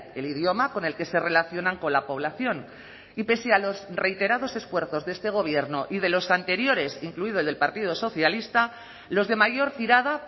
el idioma con el que se relacionan con la población y pese a los reiterados esfuerzos de este gobierno y de los anteriores incluido el del partido socialista los de mayor tirada